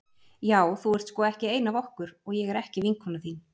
Já þú ert sko ekki ein af okkur og ég er ekki vinkona þín.